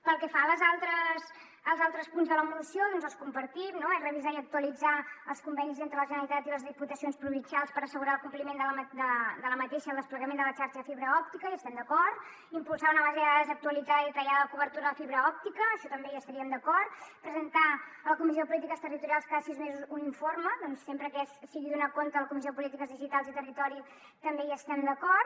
pel que fa als altres punts de la moció doncs els compartim no és revisar i actualitzar els convenis entre la generalitat i les diputacions provincials per assegurar el compliment i el desplegament de la xarxa de fibra òptica hi estem d’acord impulsar una base de dades actualitzada i detallada de la cobertura de fibra òptica en això també estaríem d’acord presentar a la comissió de polítiques territorials cada sis mesos un informe sempre que sigui donar compte a la comissió de polítiques digitals i territori també hi estem d’acord